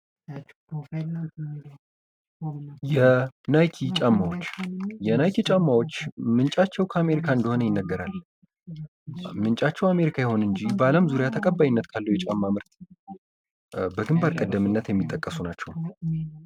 የናይኪ ጫማዎች የናይኪ ጫማዎች ምንጫቸው ከአሜሪካ እንደሆነ ይነገራል። ከአሜሪካ ይሁን እንጂ በአለም ዙሪያ ተቀባይነት ካለው ጫማ ምርት የሚጠቀሱ ናቸው።